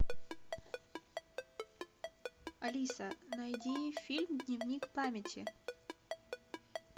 алиса найди фильм дневник памяти